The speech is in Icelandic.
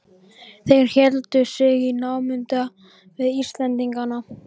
Þeir héldu sig í námunda við Íslendingana.